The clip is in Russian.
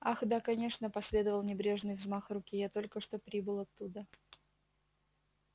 ах да конечно последовал небрежный взмах руки я только что прибыл оттуда